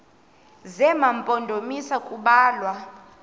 zema mpondomise kubalwa